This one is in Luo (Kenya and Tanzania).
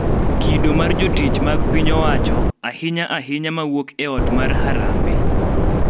Kido mar jotich mag piny owacho, ahinya ahinya ma wuok e ot mar Harambee,